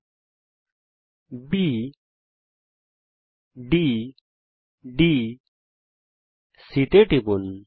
বিন্দু B D D C তে টিপুন